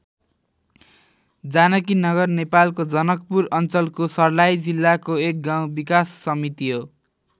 जानकीनगर नेपालको जनकपुर अञ्चलको सर्लाही जिल्लाको एक गाउँ विकास समिति हो।